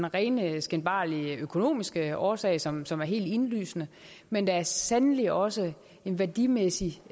rene skinbarlige økonomiske årsag som som er helt indlysende men der er sandelig også en værdimæssig